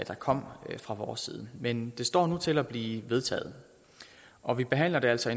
der kom fra vores side men det står nu til at blive vedtaget og vi behandler det altså